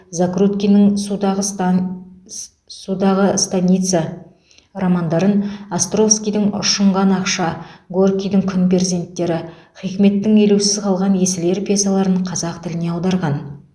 закруткиннің судағыстан судағы станица романдарын островскийдің ұшынған ақша горкийдің күн перзенттері хикметтің елеусіз қалған есіл ер пьесаларын қазақ тіліне аударған